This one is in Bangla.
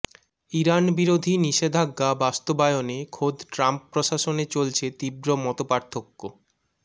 ইরান বিরোধী নিষেধাজ্ঞা বাস্তবায়নে খোদ ট্রাম্প প্রশাসনে চলছে তীব্র মতপার্থক্য